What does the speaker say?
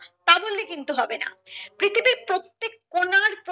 তা বললে কিন্তু হবে না পৃথিবীর প্রত্যেক কোনার